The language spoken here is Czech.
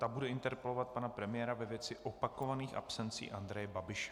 Ta bude interpelovat pana premiéra ve věci opakovaných absencí Andreje Babiše.